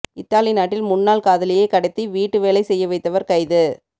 Italy நாட்டில் முன்னாள் காதலியை கடத்தி வீட்டு வேலை செய்ய வைத்தவர் கைது